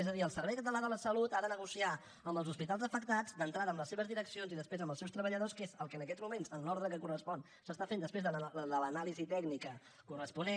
és a dir el servei català de la salut ha de negociar amb els hospitals afectats d’entrada amb les seves direccions i després amb els seus treballadors que és el que en aquests moments en l’ordre que correspon s’està fent després de l’anàlisi tècnica corresponent